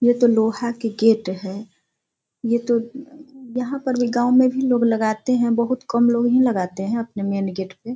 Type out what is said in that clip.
ये तो लोहा के गेट है। ये तो यहाँ पर भी गाँव में भी लोग लगाते है। बहोत कम लोग ही लगाते है अपने मैन गेट पे ।